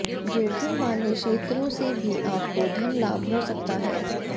जोखिम वाले क्षेत्रों से भी आपको धन लाभ हो सकता है